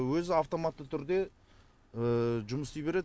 өзі автоматты түрде жұмыс істей береді